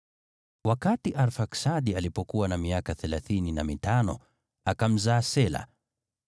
Wakati Arfaksadi alipokuwa na miaka thelathini na mitano, akamzaa Shela.